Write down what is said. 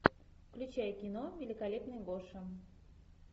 включай кино великолепный гоша